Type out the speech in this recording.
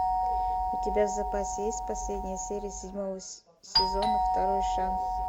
у тебя в запасе есть последняя серия седьмого сезона второй шанс